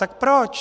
Tak proč?